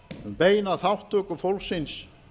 um beina þátttöku fólksins